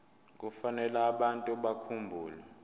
kufanele abantu bakhumbule